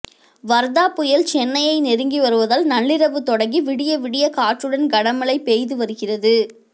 வர்தா புயல் சென்னையை நெருங்கி வருவதால் நள்ளிரவு தொடங்கி விடிய விடிய காற்றுடன் கனமழை பெய்து வருகிறது